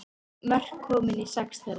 Mörk komin í sex þeirra